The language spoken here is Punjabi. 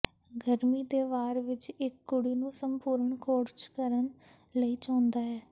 ਗਰਮੀ ਦੇ ਵਾਰ ਵਿੱਚ ਇੱਕ ਕੁੜੀ ਨੂੰ ਸੰਪੂਰਣ ਖੋਜ ਕਰਨ ਲਈ ਚਾਹੁੰਦਾ ਹੈ